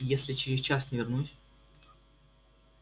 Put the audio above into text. если через час не вернусь